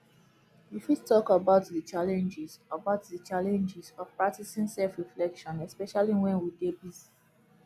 you fit talk about di challenges about di challenges of practicing selfreflection especially when we dey busy